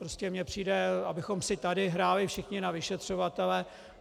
Ale mně přijde, abychom si tady hráli všichni na vyšetřovatele...